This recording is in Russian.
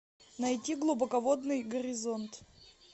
найти глубоководный горизонт